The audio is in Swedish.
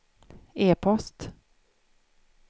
e-post